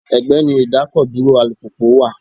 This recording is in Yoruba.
Ẹgbẹ́ ni idakoduro alùpùpù wà.